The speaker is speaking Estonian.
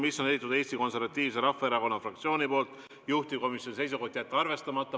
Selle on esitanud Eesti Konservatiivse Rahvaerakonna fraktsioon, juhtivkomisjoni seisukoht on jätta see arvestamata.